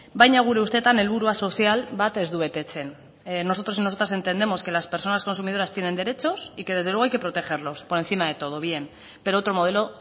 baina gure ustetan helburua sozial bat ez du betetzen nosotros y nosotras entendemos que las personas consumidoras tienen derechos y que desde luego hay que protegerlos por encima de todo bien pero otro modelo